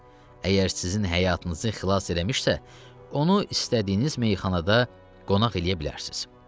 Əgər sizin həyatınızı xilas eləmişsə, onu istədiyiniz meyxanada qonaq eləyə bilərsiniz.